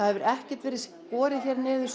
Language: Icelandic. hefur ekkert verið skorin niður